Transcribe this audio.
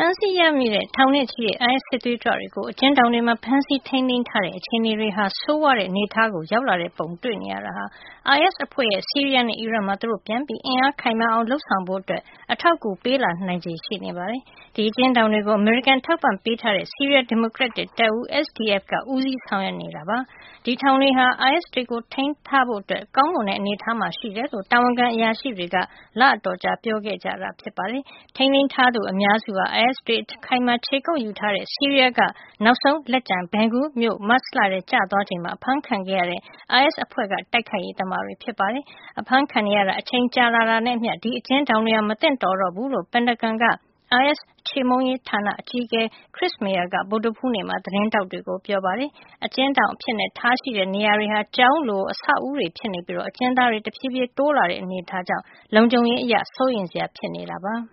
မ်းဆီးရမိတဲ့ ထောင်နဲ့ချီတဲ့ အိုင်အက်စ် စစ်သွေးကြွတွေကို အကျဉ်းထောင်တွေမှာ ဖမ်းဆီးထိမ်းသိမ်းထားတဲ့ အခြေအနေဟာ ဆိုးဝါးတဲ့ အနေထားကို ရောက်လာတဲ့ပုံ တွေ့နေရတာဟာ အိုင်အက်စ် အဖွဲ့ရဲ့ ဆီးရီးယားနဲ့ အီရတ်မှာ သူတို့ ပြန်ပြီး အင်အားခိုင်မာအောင် လုပ်ဆောင်ဖို့ အတွက် အထောက်အကူပေးလာနိုင်ချေ ရှိနေပါတယ်။ ဒီအကျဉ်းထောင်တွေကို အမေရိကန် အထောက်အပံ့ပေးထားတဲ့ဆီးရီးယား ဒီမိုကရက်တစ် တပ်ဦး SDF က ဦးစီးဆောင်ရွက်နေတာ ဖြစ်ပြီး ဒီထောင်တွေဟာ အိုင်အက်စ်တွေကို ထိန်းထားဖို့ ကောင်းမွန်တဲ့ အနေထားမှာ ရှိတယ်လို့ တာဝန်ခံအရာရှိတွေက လအတော်ကြာ ပြောခဲ့ကြတာပါ။ ထိန်းသိမ်း ထားသူ အများစုဟာ အိုင်အက်စ်တွေ အခိုင်အမာ ခြေကုပ်ယူထားတဲ့ ဆီးရီးယားက နောက်ဆုံးလက်ကျန် Baghuz မြို့မတ်လထဲ ကျသွားချိန်မှာ အဖမ်းခံခဲ့ရတဲ့ အိုင်အက်စ် အဖွဲ့က တိုက်ခိုက်ရေး သမားတွေ ဖြစ်ပါတယ်။ အဖမ်းခံနေရတာ အချိန်ကြာလာတာနဲ့ အမျှ ဒီအကျဉ်းထောင်တွေဟာ မသင့်တော်တော့ဘူးလို့ ပင်တာဂွန်က အိုင်အက်စ် ခြေမှုန်းရေး ဌာန အကြီးအကဲ Chris Maier က ဗုဒ္ဓဟူးနေ့မှာ သတင်းထောက်တွေကို ပြောပါတယ်။ အကျဉ်းထောင် လုပ်ထားတဲ့ နေရာတွေဟာ ကျောင်းလို့ ဆောက်အဦးတွေ ဖြစ်နေပြီး အ ကျဉ်းသားတွေ တဖြေးဖြေး တိုးလာတဲ့ အနေထားကြောင့် လုံခြုံရေး အရ စိုးရိမ်စရာ ဖြစ်လာနေတာပါ။